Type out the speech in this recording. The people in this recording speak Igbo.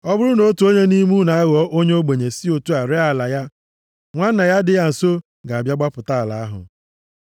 “ ‘Ọ bụrụ na otu onye nʼime unu aghọọ onye ogbenye si otu a ree ala ya, nwanna ya dị ya nso ga-abịa gbapụta ala ahụ.